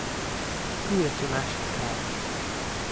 Tujec v naših krajih.